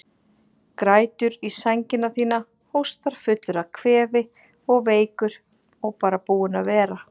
Grætur í sængina þína, hóstar fullur af kvefi og veikur og bara búinn að vera.